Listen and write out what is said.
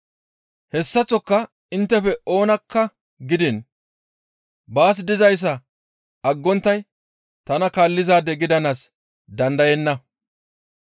Hessaththoka inttefe oonakka gidiin baas dizayssa aggonttay tana kaallizaade gidanaas dandayenna.